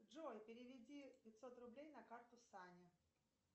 джой переведи пятьсот рублей на карту сане